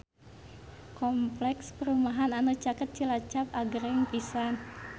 Kompleks perumahan anu caket Cilacap agreng pisan